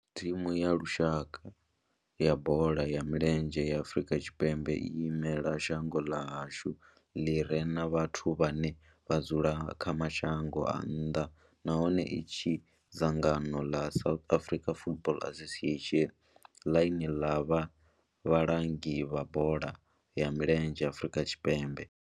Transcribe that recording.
Thimu ya lushaka ya bola ya milenzhe ya Afrika Tshipembe i imela shango ḽa hashu ḽi re na vhathu vhane vha dzula kha mashango a nnḓa nahone tshi tshimbidzwa nga dzangano ḽa South African Football Association, ḽine ḽa vha vhalangi vha bola ya milenzhe Afrika Tshipembe.